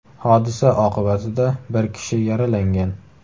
Hodisa oqibatida bir kishi yaralangan.